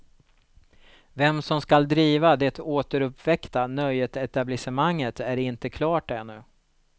Vem som skall driva det återuppväckta nöjesetablissemanget är inte klart ännu.